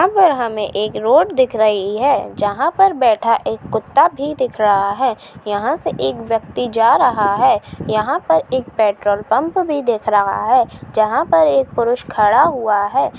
यहाँ पर हमें एक रोड दिख रही है जहां पर बैठा एक कुत्ता भी दिख रहा है यहाँ से एक व्यक्ति जा रहा है यहाँ पर एक पेट्रोल पंप भी दिख रहा है जहां पर एक पुरुष खड़ा हुआ है।